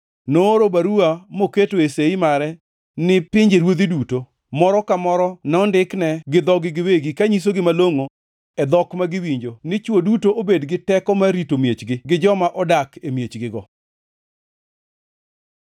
Nooro baruwa moketoe sei mare ni pinjeruodhi duto, moro ka moro nondikne gi dhogi giwegi kanyisogi malongʼo e dhok ma giwinjo ni chwo duto obed gi teko mar rito miechgi gi joma odak e miechgigo.